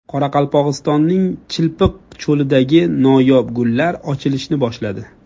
Qoraqalpog‘istonning Chilpiq cho‘lidagi noyob gullar ochilishni boshladi .